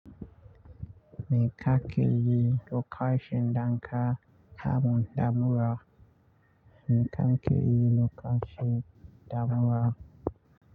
Mai kakeyi lokacin daka kamu da mura? Mai ka ke yi lokacin da mura.